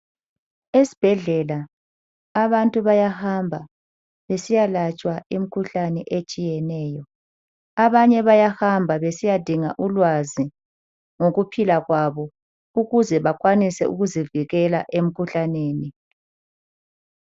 Esbhedlela abantu bayahamba besiya kwelatshwa imkhuhlane etshiyeneyo, abanye bayahamba besiyadinga ulwazi ngokuphila kwabo ukuze bakwanise ukuzivikela emkhuhlaneni.